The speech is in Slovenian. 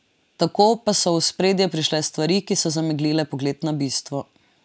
Tako pa so v ospredje prišle stvari, ki so zameglile pogled na bistvo.